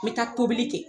N bɛ taa tobili kɛ